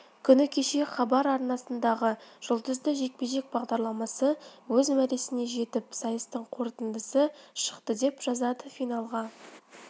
күні кеше хабар арнасындағы жұлдызды жекпе-жек бағдарламасы өз мәресіне жетіп сайыстың қорытындысы шықты деп жазады финалға